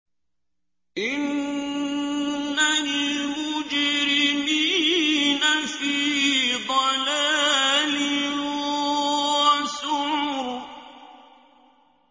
إِنَّ الْمُجْرِمِينَ فِي ضَلَالٍ وَسُعُرٍ